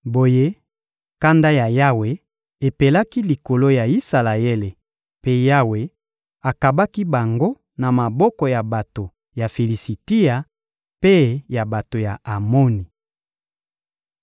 Boye, kanda ya Yawe epelaki likolo ya Isalaele, mpe Yawe akabaki bango na maboko ya bato ya Filisitia mpe ya bato ya Amoni.